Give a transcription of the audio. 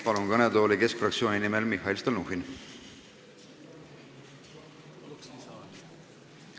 Palun kõnetooli Keskerakonna fraktsiooni nimel sõna võtma Mihhail Stalnuhhini!